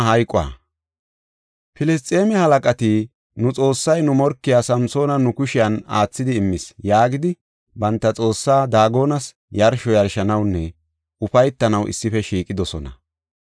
Filisxeeme halaqati, “Nu xoossay nu morkiya Samsoona nu kushen aathidi immis” yaagidi banta xoossaa Daagonas yarsho yarshanawunne ufaytanaw issife shiiqidosona.